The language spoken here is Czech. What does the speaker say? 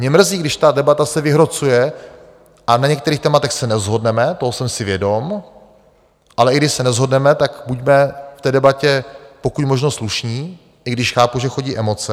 Mě mrzí, když ta debata se vyhrocuje a na některých tématech se neshodneme, toho jsem si vědom, ale i když se neshodneme, tak buďme v té debatě pokud možno slušní, i když chápu, že chodí emoce.